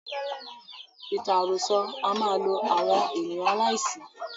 Ìtàn àròsọ a máa lo àwọn ènìyàn aláìsí.